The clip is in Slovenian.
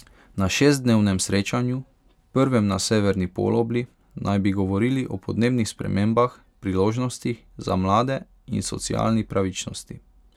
Na šestdnevnem srečanju, prvem na severni polobli, naj bi govorili o podnebnih spremembah, priložnostih za mlade in socialni pravičnosti.